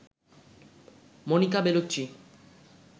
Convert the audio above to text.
Monika Bellucci